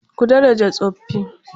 Ku daraja tsofaffi.